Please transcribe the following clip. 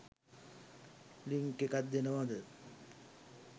Link එකක් දෙනවද?